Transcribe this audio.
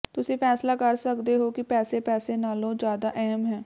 ਤੁਸੀਂ ਫੈਸਲਾ ਕਰ ਸਕਦੇ ਹੋ ਕਿ ਪੈਸੇ ਪੈਸੇ ਨਾਲੋਂ ਜ਼ਿਆਦਾ ਅਹਿਮ ਹੈ